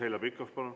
Heljo Pikhof, palun!